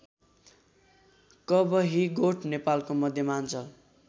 कवहीगोठ नेपालको मध्यमाञ्चल